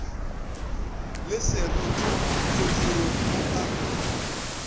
le seroto modirong o a